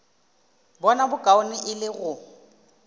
bona bokaone e le go